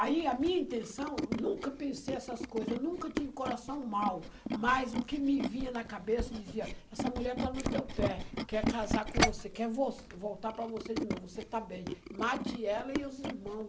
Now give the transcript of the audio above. Aí a minha intenção, nunca pensei essas coisas, nunca tive coração mau, mas o que me vinha na cabeça dizia, essa mulher está no teu pé, quer casar com você, quer vol voltar para você de novo, você está bem, mate ela e os irmão.